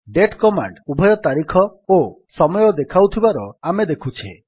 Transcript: date command ଉଭୟ ତାରିଖ ଓ ସମୟ ଦେଖାଉଥିବାର ଆମେ ଦେଖୁଛେ